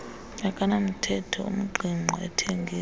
akanamthetho ungqingqwa athengiswa